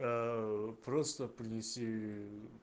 аа просто принеси